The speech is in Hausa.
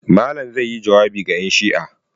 Malam zai yi jawabi ga 'yanshi'a.